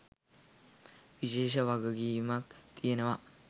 විශේෂ වගකීමක් තියෙනවා